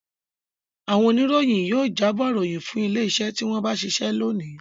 Àwọn oníròyìn yóò jábọ̀ ìròyìn fún ilé-iṣẹ́ tí wọ́n ń bá ṣiṣẹ́ lónìí.